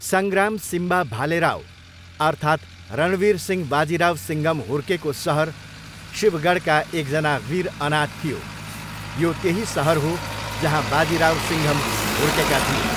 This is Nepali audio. सङ्ग्राम 'सिम्बा' भालेराव अर्थात् रणवीर सिंह बाजिराव सिङ्घम हुर्केको सहर शिवगढका एकजना वीर अनाथ थियो, यो त्यही सहर हो जहाँ बाजिराव सिङ्घम हुर्केका थिए।